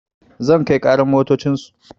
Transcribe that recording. Zan kai ƙarar motocin su